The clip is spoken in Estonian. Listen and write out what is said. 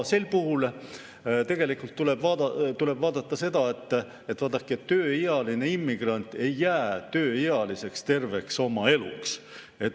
Sel puhul tuleb tegelikult vaadata seda, et tööealine immigrant ei jää tööealiseks terveks oma eluks.